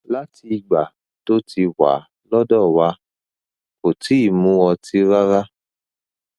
láti ìgbà tó ti wà lọdọ wa kò tíì mu ọtí rárá